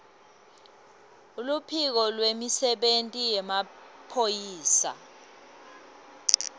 luphiko lwemisebenti yemaphoyisa